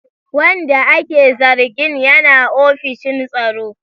Wanda ake zargin yana ofishin tsaro.